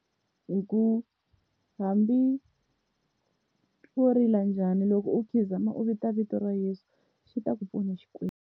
Hi ku hambi wo rila njhani loko u khizama u vita vito ra Yeso xi ta ku pfuna Xikwembu.